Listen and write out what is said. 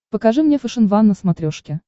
покажи мне фэшен ван на смотрешке